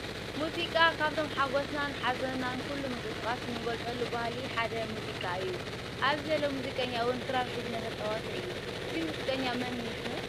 ሙዚቃ፦ ካብቶም ሓጎስናን ሓዝናን ኩሉ ምቅስቃስ እንገልፀሉ ባህሊ ሓደ ሙዙቃ እዩ። ኣብዙይ ዘሎ ሙዙቀኛ እውን ክራር ሒዙ እንዳተፃወተ እዩ። እዚ ሙዚቀኛ ከ መን ሽሙ?